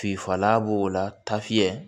Finfala b'o la ta fiyɛ